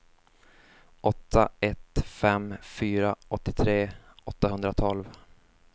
åtta ett fem fyra åttiotre åttahundratolv